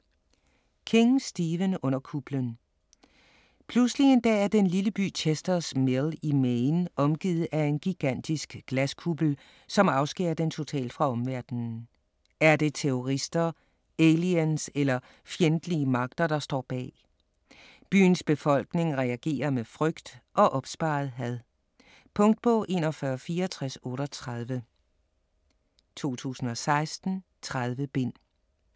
King, Stephen: Under kuplen Pludselig en dag er den lille by Chester's Mill i Maine omgivet af en gigantisk glaskuppel, som afskærer den totalt fra omverdenen. Er det terrorister, aliens eller fjendtlige magter der står bag? Byens befolkning reagerer med frygt og opsparet had. Punktbog 416438 2016. 30 bind.